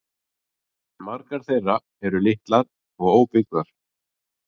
Margar þeirra eru litlar og óbyggðar